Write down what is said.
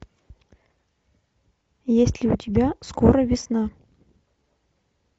есть ли у тебя скоро весна